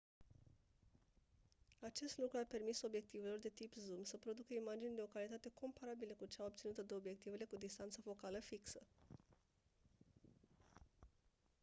acest lucru a permis obiectivelor de tip zoom să producă imagini de o calitate comparabilă cu cea obținută de obiectivele cu distanță focală fixă